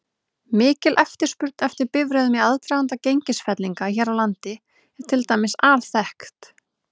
Mikil eftirspurn eftir bifreiðum í aðdraganda gengisfellinga hér á landi er til dæmis alþekkt.